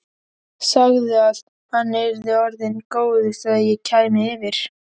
Sagði að hann yrði orðinn góður þegar ég kæmi yfir.